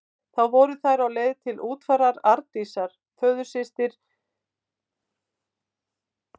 Þá voru þær á leið til útfarar Arndísar, föðursystur Vigdísar forseta.